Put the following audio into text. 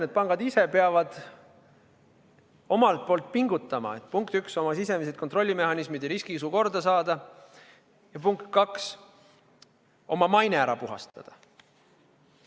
Need pangad ise peavad omalt poolt pingutama, et, punkt üks, oma sisemised kontrollimehhanismid ja riskiisu korda saada, ja punkt kaks, oma maine ära puhastada.